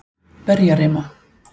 Berjarima